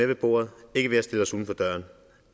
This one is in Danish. ved bordet ikke ved at stille os uden for døren